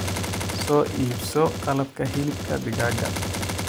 Soo iibso qalabka hilibka digaaga.